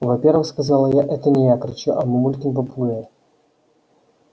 во первых сказала я это не я кричу а мамулькин попугай